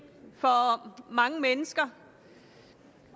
for mange mennesker